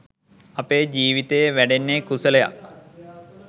අපේ ජීවිතයේ වැඩෙන්නේ කුසලයක්.